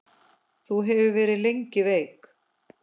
Þú hefur verið lengi veik.